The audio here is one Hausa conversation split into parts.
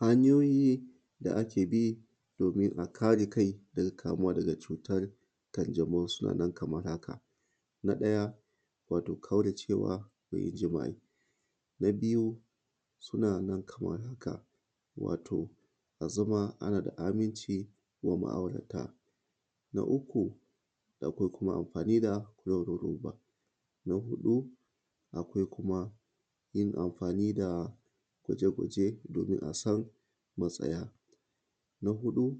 hanyoyi da ake bi domin a kare kai dan kamuwa daga cutan ƙanǳamo suna nan kaman haka na daya wato ƙaura ce da yin ǳima'i na buyu sunan Kaman haka wato azama ana da aminci ma ma'aurata na uku akwai kuma anfani da roba na hudu kuma yin amfani da gwaǳe-gwaǳe domin asan matsaya na huda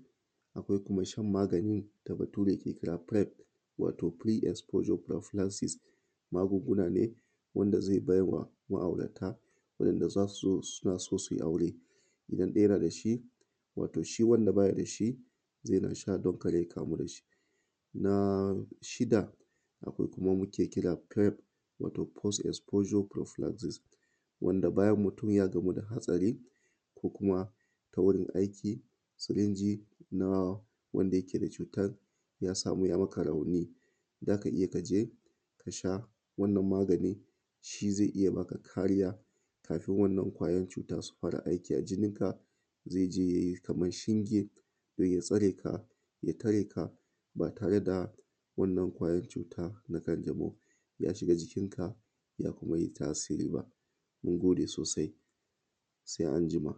akwai kuma shan magani da bature ke kira prime wato free exposure magungunane wanda zai baiwa ma'aurata idan zasu so suyi suna so aure idan daya na dashi wato shi wanda bayi dashi zai runga sha dan kada ya kamu dashi na shida da kwai kuma wanda muke kira post exposure wanda bayan mutun ya gamu da hatsari koh kuma gurun aiki siringy na wanda yake da cutan ya samu ya maka rauni zaka iya kasha shi wannan magani zai iya maka kariya Kafin wannan kwajan cutan su fara aiki aikin ka zai kaman shinge ya tsareka ya tare ka ba tare da wannan kwayan cuta na kanǳamo ya shiga jikinka bai kuma yi tasiri ba mun gode sosai sai anjima.